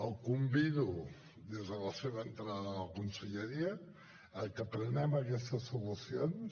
el convido des de la seva entrada a la conselleria a que prenguem aquestes solucions